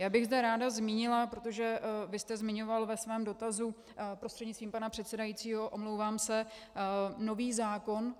Já bych zde ráda zmínila - protože vy jste zmiňoval ve svém dotazu, prostřednictvím pana předsedajícího, omlouvám se, nový zákon.